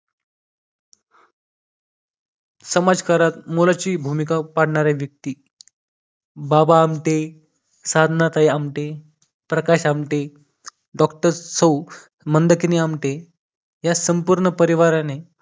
समाजकारक मोलाची भूमिका पाडणारे व्यक्ती बाबा आमटे साधनाताई आमटे प्रकाश आमटे डॉक्टर सौ मंदाकिनी आमटे या संपूर्ण परिवाराने